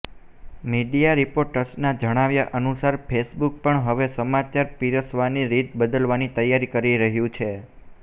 media રિપોર્ટ્સના જણાવ્યા અનુસાર ફેસબૂક પણ હવે સમાચાર પીરસવાની રીત બદલવાની તૈયારી કરી રહ્યું છે